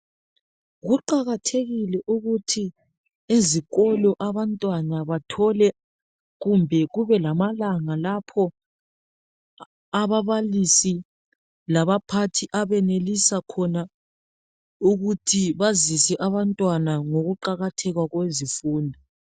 Kuqakathekile ukuthi ezikolo abantwana bathole kumbe kubelamalanga lapho ababalisi labaphathi abenelisa khona ukuthi bazise abantwana ngokuqakatheka kwezifundo.